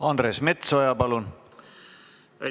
Andres Metsoja, palun!